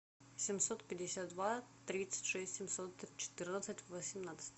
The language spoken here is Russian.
семьсот пятьдесят два тридцать шесть семьсот четырнадцать восемнадцать